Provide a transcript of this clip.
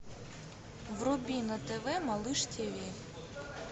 вруби на тв малыш тиви